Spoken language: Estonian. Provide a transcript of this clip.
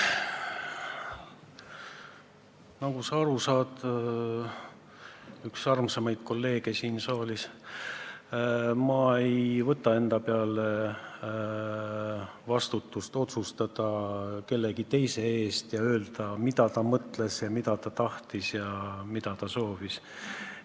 Nagu sa aru saad, üks armsamaid kolleege siin saalis, ma ei võta enda peale vastutust otsustada kellegi teise eest ja öelda, mida ta mõtles, mida ta tahab, mida ta soovib.